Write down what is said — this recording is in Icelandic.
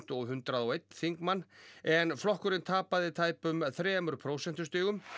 og hundrað og einn þingmann en flokkurinn tapaði tæpum þremur prósentustigum